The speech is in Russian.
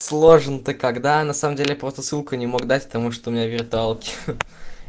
сложно ты когда на самом деле просто ссылку не мог дать потому что у меня виртуалке